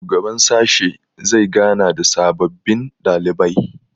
shugaban sashe zai gana da sababbin ɗalibai